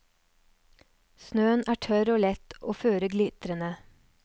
Snøen er tørr og lett, og føret glitrende.